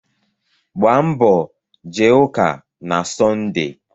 Gbaa mbọ jee ụka na Sọnde.